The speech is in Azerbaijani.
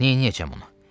Neyləyəcəm ona?